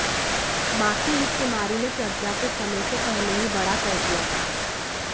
मां की इस बीमारी ने प्रज्ञा को समय से पहले ही बड़ा कर दिया था